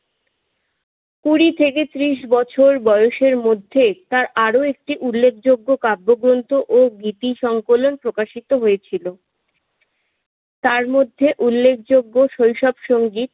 কুড়ি থেকে পঁচিশ বছর বয়সের মধ্যে তার আরো একটি উল্লেখযোগ্য কাব্যগ্রন্থ ও গীতি সংকলন প্রকাশিত হয়েছিল। তার মধ্যে উল্লেখযোগ্য শৈশব সঙ্গী